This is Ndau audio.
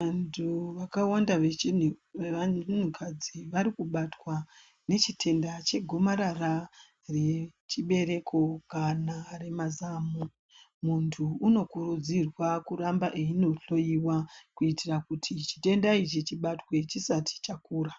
Vantu vakawanda vevanhukadzi varikubatwa nechitenda chegomarara rechibereko kana remazamo. Muntu unokurudzirwa kuramba eindohloiwa kuitira kuti chitenda ichi chibatwe chisati kura..